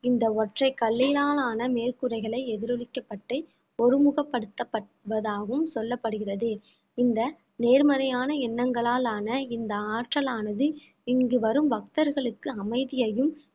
இந்த ஒற்றைக் கல்லினால் ஆன மேற்கூரைகளை எதிரொலிக்கப்பட்டு ஒருமுகப்படுத்தப்பட்டதாகவும் சொல்லப்படுகிறது இந்த நேர்மறையான எண்ணங்களால் ஆன இந்த ஆற்றலானது இங்கு வரும் பக்தர்களுக்கு அமைதியையும்